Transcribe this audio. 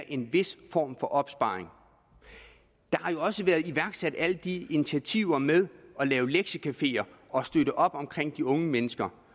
en vis form for opsparing der har jo også været iværksat alle de initiativer med at lave lektiecafeer og støtte op om de unge mennesker